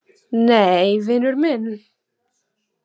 Nei, vinur minn.